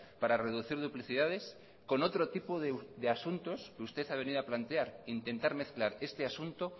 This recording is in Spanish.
para reducir duplicidades con otro tipo de asuntos que usted ha venido a plantear intentar mezclar este asunto